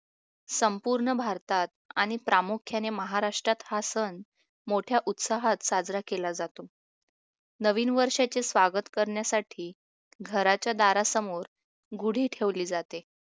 संपूर्ण भारतात आणि प्रामुख्याने महाराष्ट्रात हा सण मोठ्या उत्साहात साजरा केला जातो नवीन वर्षाचे स्वागत करण्यासाठी घराच्या दारासमोर गुढी ठेवली जाते